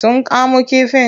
Sun kamo kifin?